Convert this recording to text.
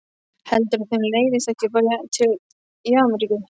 Heldurðu að þeim leiðist ekki bara í Ameríku?